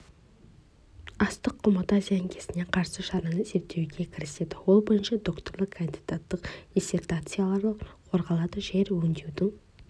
астық құмыты зиянкесіне қарсы шараны зерттеуге кіріседі ол бойынша докторлық кандидаттық диссертациялар қорғалады жер өңдеудің